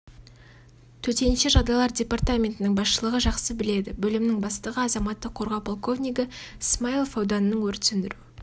төтенше жағдайлар департаментінің басшылығы жақсы біледі бөлімінің бастығы азаматтық қорғау полковнигі смаилов ауданның өрт сөндіру